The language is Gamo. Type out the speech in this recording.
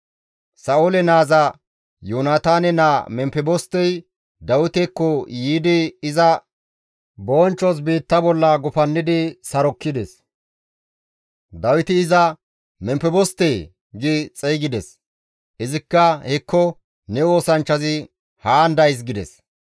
Sa7oole naaza Yoonataane naa Memfebostey Dawitekko yiidi iza bonchchos biitta bolla gufannidi sarokkides. Dawiti iza, «Memfebostee!» gi xeygides. Izikka, «Hekko ne oosanchchazi haan days» gides.